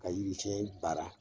Ka yiri cɛn baara